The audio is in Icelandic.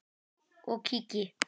og kíki.